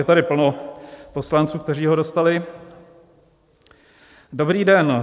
Je tady plno poslanců, kteří ho dostali: "Dobrý den.